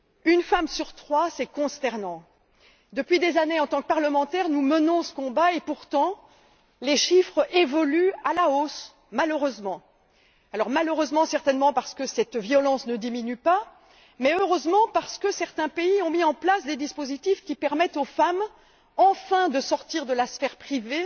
Une femme sur trois, c'est consternant. Depuis des années, en tant que parlementaires, nous menons ce combat et pourtant, les chiffres évoluent malheureusement à la hausse, certainement parce que cette violence ne diminue pas mais heureusement parce que certains pays ont mis en place des dispositifs qui permettent enfin aux femmes de sortir de la sphère privée